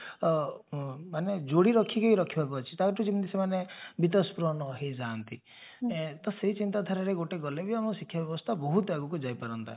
ମାନେ ଯୋଡି ରୋଖିକି ରୋଖିବାକୁ ଅଛି ଟା ଭିତରୁ ଯେମିତି ସେମାନେ ଭିତସ୍ପୃଣ ହେଇଯାନ୍ତି ତ ସେଇ ଚିନ୍ତାଧାରାରେ ଗୋଟେ ଗଲେ ବି ଆମ ଶିକ୍ଷା ବ୍ୟବସ୍ତା ବହୁତ ଆଗକୁ ଯାଇପାରନ୍ତ